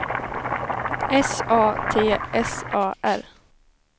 S A T S A R